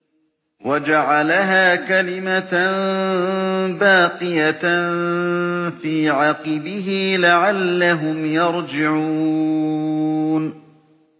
وَجَعَلَهَا كَلِمَةً بَاقِيَةً فِي عَقِبِهِ لَعَلَّهُمْ يَرْجِعُونَ